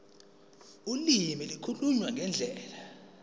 ulimi ukukhuluma ngendlela